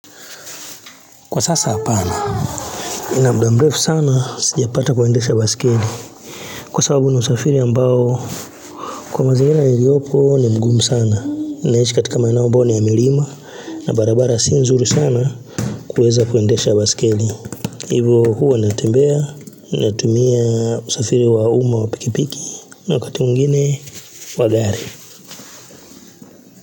Kwa sasa apana, nina mda mrefu sana sijapata kuendesha basikeli. Kwa sababu ni msafiri ambao kwa mazingira niliopo ni mgumu sana. Ninaishi katika maeneo ambayo ni ya milima na barabara si nzuri sana kuweza kuendesha baskeli. Hivyo huwa natembea, natumia usafiri wa uma wa pikipiki na wakati mwingine wa gari.